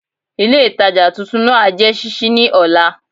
Ilé ìtajà titun náà á jé sísí ní òla